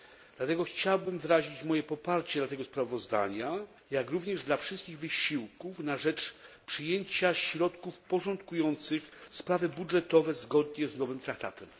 Dlatego chciałbym wyrazić poparcie dla tego sprawozdania, jak również dla wszystkich wysiłków na rzecz przyjęcia środków porządkujących sprawy budżetowe zgodnie z nowym traktatem.